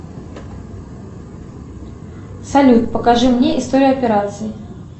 салют покажи мне историю операций